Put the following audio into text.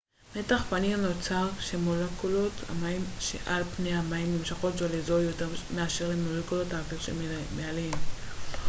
מתח פנים נוצר משום שמולקולות המים שעל פני המים נמשכות זו לזו יותר מאשר למולקולות האוויר שמעליהן